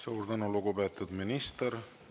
Suur tänu, lugupeetud minister!